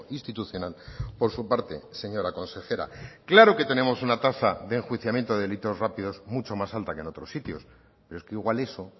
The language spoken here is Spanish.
institucional por su parte señora consejera claro que tenemos una tasa de enjuiciamiento de delitos rápidos mucho más alta que en otros sitios pero es que igual eso